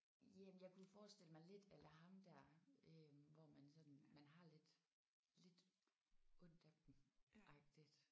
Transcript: Jamen jeg kunne forestille mig lidt à la ham der øh hvor man sådan man har lidt lidt ondt af dem agtigt